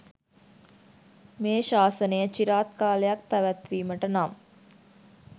මේ ශාසනය චිරාත් කාලයක් පැවැත්වීමට නම්